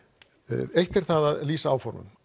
eitt er það að lýsa áformum